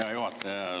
Hea juhataja!